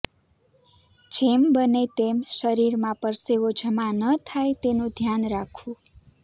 જેમ બને તેમ શરીરમાં પરસેવો જમા ન થાય તેનું ધ્યાન રાખવું